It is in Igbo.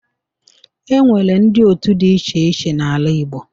E nwere ndị otu dị iche iche n'ala Igbo.